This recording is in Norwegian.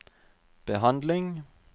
behandling